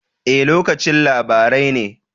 E, lokacin labarai ne.